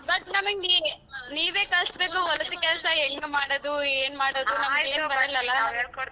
But ನಮಿಗ್ ನಿ ~ ನೀವೇ ಕಲ್ಸ್ಬೇಕು ಹೊಲದ ಕೆಲಸ ಹೆಂಗ್ ಮಾಡದು ಏನ್ ಮಾಡದು .